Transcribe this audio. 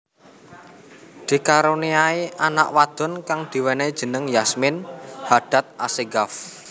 Dikaruniai anak wadon kang diwenehi jeneng Yasmin Hadad Assegaf